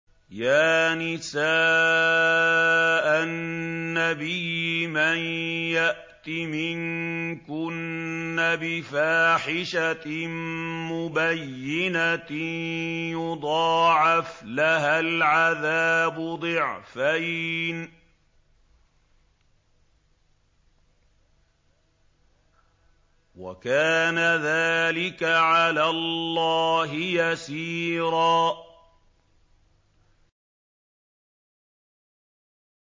يَا نِسَاءَ النَّبِيِّ مَن يَأْتِ مِنكُنَّ بِفَاحِشَةٍ مُّبَيِّنَةٍ يُضَاعَفْ لَهَا الْعَذَابُ ضِعْفَيْنِ ۚ وَكَانَ ذَٰلِكَ عَلَى اللَّهِ يَسِيرًا